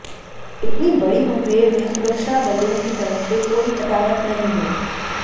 इतनी बड़ी मुठभेड़ में सुरक्षा बलों की तरफ से कोई हताहत नहीं हुआ